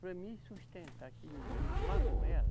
Para mim sustentar esse menino lá com ela,